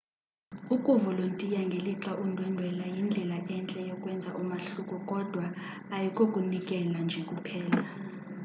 ukuvolontiya ngelixa undwendwela yindlela entle yokwenza umahluko kodwa ayikokunikela nje kuphela